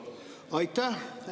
Aitäh!